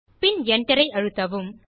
பின் Enter ஐ அழுத்தவும்